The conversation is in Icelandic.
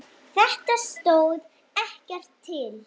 Þetta stóð ekkert til.